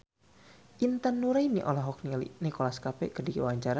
Intan Nuraini olohok ningali Nicholas Cafe keur diwawancara